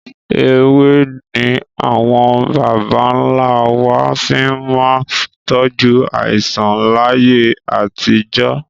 Ewé ni àwọn bàbà ń lá wá fi máa ń tọju àìsàn láyé àtijọ́